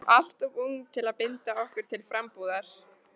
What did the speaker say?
Við erum alltof ung til að binda okkur til frambúðar.